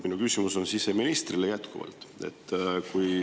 Minu küsimus siseministrile on selline.